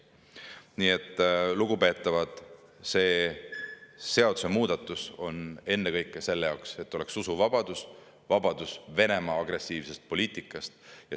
Nii et, lugupeetavad, see seadusemuudatus on ennekõike selle jaoks, et oleks usuvabadus, vabadus Venemaa agressiivsest poliitikast.